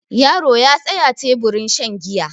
yaro ya tsaya teburin shan giya